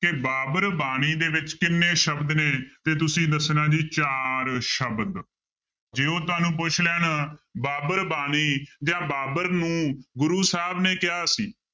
ਕਿ ਬਾਬਰ ਬਾਣੀ ਦੇ ਵਿੱਚ ਕਿੰਨੇ ਸ਼ਬਦ ਨੇ? ਤੇ ਤੁਸੀਂ ਦੱਸਣਾ ਜੀ ਚਾਰ ਸ਼ਬਦ, ਜੇ ਉਹ ਤੁਹਾਨੂੰ ਪੁੱਛ ਲੈਣ ਬਾਬਰ ਬਾਣੀ ਜਾਂ ਬਾਬਰ ਨੂੰ ਗੁਰੂ ਸਾਹਿਬ ਨੇ ਕਿਹਾ ਸੀ